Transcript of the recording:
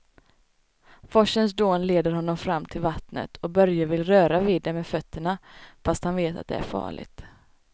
Forsens dån leder honom fram till vattnet och Börje vill röra vid det med fötterna, fast han vet att det är farligt.